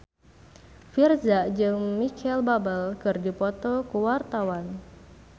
Virzha jeung Micheal Bubble keur dipoto ku wartawan